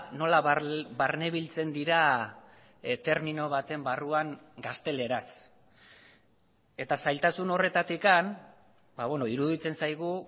nola barnebiltzen dira termino baten barruan gazteleraz eta zailtasun horretatik iruditzen zaigu